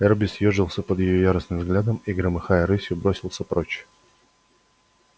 эрби съёжился под её яростным взглядом и громыхая рысью бросился прочь